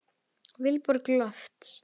Vilborg Lofts.